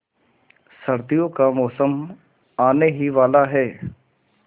सर्दियों का मौसम आने ही वाला है